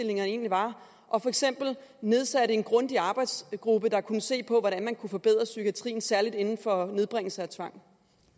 egentlig var og for eksempel nedsatte en grundig arbejdsgruppe der kunne se på hvordan man kunne forbedre psykiatrien særlig inden for nedbringelse af tvang